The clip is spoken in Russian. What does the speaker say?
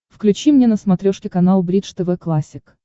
включи мне на смотрешке канал бридж тв классик